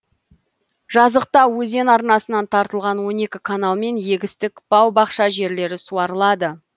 жазықта өзен арнасынан тартылған он екі каналмен егістік бау бақша жерлері суарылады